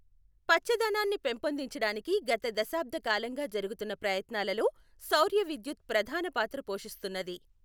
పచ్చధనాన్ని పెంపొందిచడానికి గత దశాబ్ద కాలంగా జరుగుతున్న ప్రయత్నాలలో సౌర్య విద్యుత్ ప్రధాన పాత్ర పోషిస్తున్నది.